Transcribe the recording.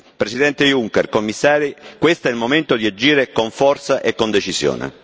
Presidente Juncker, Commissari, questo è il momento di agire con forza e con decisione.